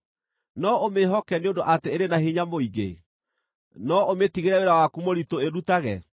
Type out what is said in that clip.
No ũmĩĩhoke nĩ ũndũ atĩ ĩrĩ na hinya mũingĩ? No ũmĩtigĩre wĩra waku mũritũ ĩrutage?